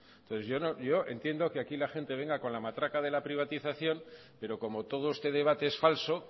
entonces yo entiendo que aquí la gente venga con la matraca de la privatización pero como todo este debate es falso